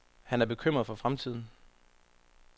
Han er bekymret for fremtiden.